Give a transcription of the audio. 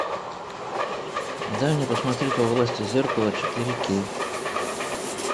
дай мне посмотреть во власти зеркала четыре кей